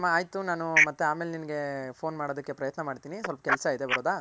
ಆಯ್ತು ಸರಿನಮ್ಮ ಆಯ್ತು ನಾನು ಆಮೇಲೆ ನಿಂಗೆ phone ಮಾಡೋದಕ್ಕೆ ಪ್ರಯತ್ನ ಮಾಡ್ತಿನಿ ಸ್ವಲ್ಪ್ ಕೆಲ್ಸ ಇದೆ ಬರೋದ.